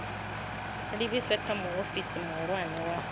livhise kha muofisi muhulwane wa